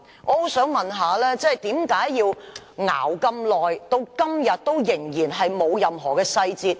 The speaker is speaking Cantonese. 我很想問局長為何要拖延這麼久，至今仍然沒有任何細節？